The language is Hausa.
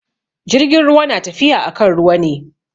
Jirgin ruwa na tafiya akan ruwa ne.